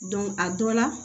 a dɔ la